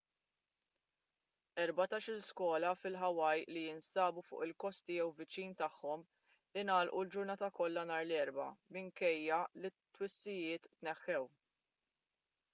erbatax-il skola fil-hawaii li jinsabu fuq il-kosti jew viċin tagħhom ingħalqu l-ġurnata kollha nhar l-erbgħa minkejja li t-twissijiet tneħħew